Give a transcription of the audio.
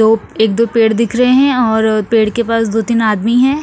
दो एक दो पेड़ दिख रहे है और पेड़ के पास दो तिन आदमी है।